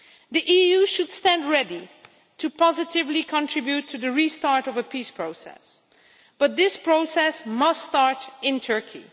The EU should stand ready to contribute positively to the restart of a peace process, but this process must start in Turkey.